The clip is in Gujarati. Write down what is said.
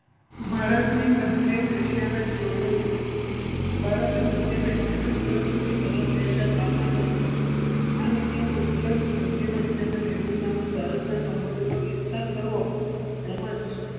ભારતની મધ્યમ એશિયા ને જોડો નીતિ. ભારતની મધ્યમ એશિયા ને જોડો નીતિ ની શરૂઆત બે હજાર બાર માં કરી હતી આ નીતિનો ઉદેશ મધ્યમ એશિયાના દેશો સામે ભારતના સબંધો નો વિસ્તાર કરવો તેમજ